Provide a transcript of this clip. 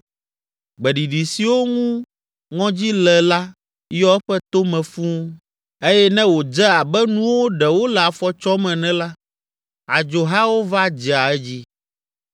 Gbeɖiɖi siwo ŋu ŋɔdzi le la yɔ eƒe tome fũu eye ne wòdze abe nuwo ɖe wole afɔ tsɔm ene la, adzohawo va dzea edzi.